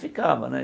Ficava, né?